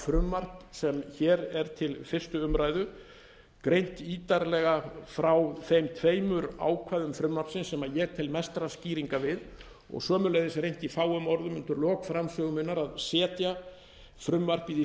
frumvarp sem hér er til fyrstu umræðu greint ítarlega frá þeim tveimur ákvæðum frumvarpsins sem ég tel mestrar skýringar við og sömuleiðis reynt í fáum orða undir lok framsögu minnar að setja frumvarpið í